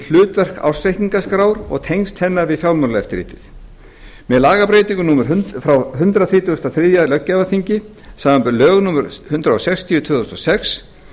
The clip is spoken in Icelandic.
hlutverk ársreikningaskrár og tengsl hennar við fjármálaeftirlitið með lagabreytingu frá hundrað þrítugasta og þriðja löggjafarþingi samanber lög númer hundrað sextíu tvö þúsund og sex